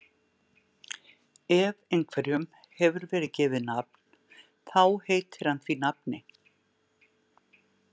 Ef einhverjum hefur verið gefið nafn þá heitir hann því nafni.